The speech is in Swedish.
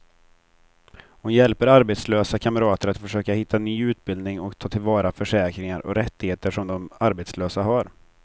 Hon hjälper arbetslösa kamrater att försöka hitta ny utbildning och ta till vara försäkringar och rättigheter som de som arbetslösa har.